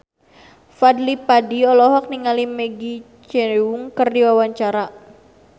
Fadly Padi olohok ningali Maggie Cheung keur diwawancara